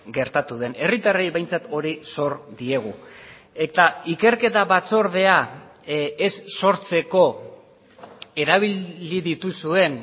gertatu den herritarrei behintzat hori sor diegu eta ikerketa batzordea ez sortzeko erabili dituzuen